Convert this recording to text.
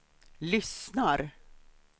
lyssnar